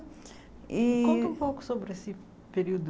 Ih Conta um pouco sobre esse período.